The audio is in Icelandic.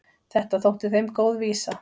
Þetta þótti þeim góð vísa.